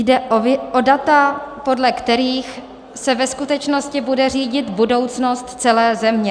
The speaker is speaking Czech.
Jde o data, podle kterých se ve skutečnosti bude řídit budoucnost celé země.